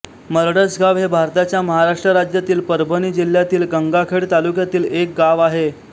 मरडसगाव हे भारताच्या महाराष्ट्र राज्यातील परभणी जिल्ह्यातील गंगाखेड तालुक्यातील एक गाव आहे